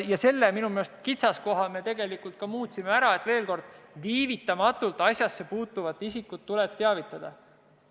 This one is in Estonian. Ja minu meelest me saime sellest kitsaskohast jagu – asjasse puutuvat isikut tuleb viivitamatult teavitada.